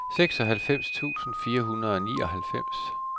seksoghalvfems tusind fire hundrede og nioghalvfems